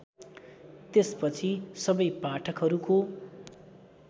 त्यसपछि सबै पाठकहरूको